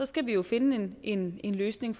skal vi jo finde en løsning